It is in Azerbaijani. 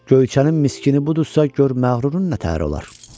Göyçənin Miskinu budursa, gör məğrurun nətər olar?